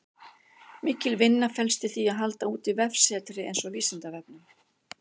Mikil vinna felst í því að halda úti vefsetri eins og Vísindavefnum.